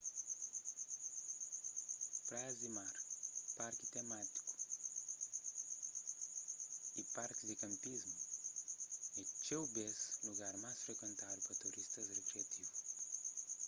praias di mar parkis temátiku y parkis di kanpismu é txeu bês lugar más frikuentadu pa turistas rikriativu